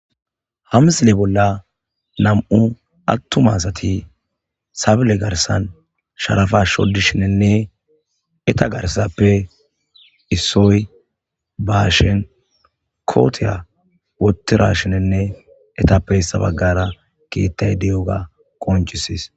Ha misile bolla namu'u atuma assati sebile garissani sharappa shodishene etta garisape issoyi ba hashiyani kotiya wothidashini ettappe issi baggra kethayi dewuga qoncisasi